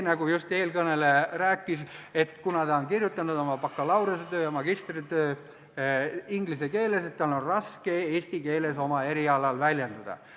Nagu eelkõneleja just rääkis, on tal seetõttu, et ta on bakalaureusetöö ja magistritöö kirjutanud inglise keeles, raske eesti keeles oma erialal väljenduda.